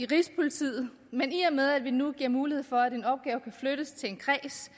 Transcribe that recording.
rigspolitiet men i og med at vi nu giver mulighed for at en opgave kan flyttes til en kreds